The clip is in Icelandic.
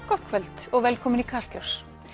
gott kvöld og velkomin í Kastljós